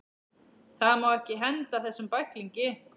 Það má ekki henda þessum bæklingi!